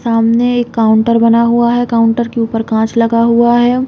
सामने एक काउंटर बना हुआ है। काउंटर के ऊपर कांच लगा हुआ है।